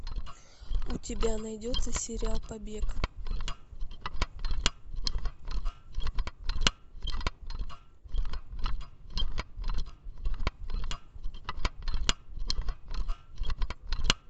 у тебя найдется сериал побег